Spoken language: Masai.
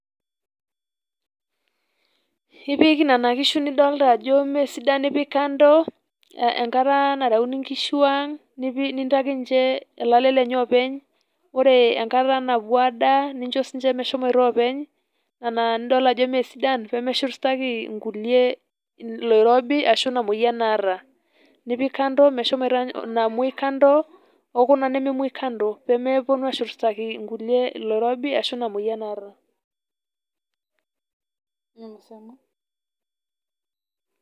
Ipik nena kishu nidolta ajo mee sidan ,nipik kando enkata nareuni nkishu ang nipi nintaki ninche olale lenye openy ore enkata naduo adaa nincho sininche meshomoito oopeny nena nidol ajo mmee sidan pemeshurtaki nkulie oloirobi ashu ina moyian naata . nipik kando meshomoita inamwoi kando okuna nememwoi kando pemeponu ashurtaki nkulie oloirobi ashu ina moyian naata.